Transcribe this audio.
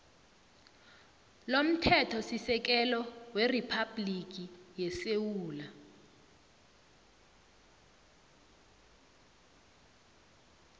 lomthethosisekelo weriphabhligi yesewula